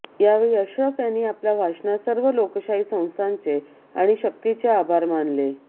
यावेळी अशरफ यांनी आपल्या भाषणात सर्व लोकशाही संस्थांचे आणि शक्तींचे आभार मानले